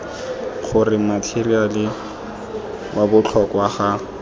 gore matheriale wa botlhokwa ga